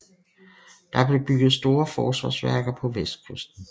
Der blev bygget store forsvarsværker på vestkysten